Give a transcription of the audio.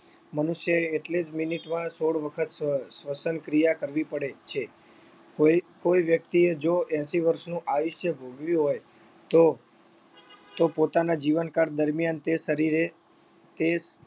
મનુષ્ય એ એટલે જ minute માં સોળ વખત શ્વ શ્વસનક્રિયા કરવી પડે છે કોઈ કોઈ વ્યક્તિએ જો એંશી વર્ષનું આયુષ્ય ભોગવ્યું હોય તો તો પોતાના જીવનકાળ દરમિયાન તે શરીરે તે